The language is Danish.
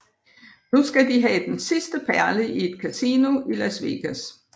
Nu skal de have den sidste perle i et kasino i Las Vegas